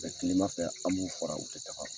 bɛ tilema fɛ an b'u fra u tɛ ɲagami.